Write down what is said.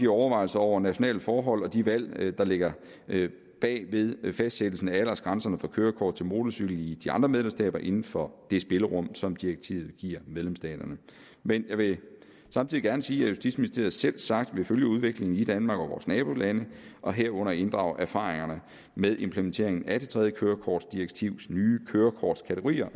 overvejelserne over nationale forhold og de valg der ligger bag fastsættelse af aldersgrænserne for kørekort til motorcykel i de andre medlemsstater inden for det spillerum som direktivet giver medlemsstaterne men jeg vil samtidig gerne sige at justitsministeriet selvsagt vil følge udviklingen i danmark og i vores nabolande og herunder inddrage erfaringerne med implementeringen af det tredje kørekortdirektivs nye kørekortkategorier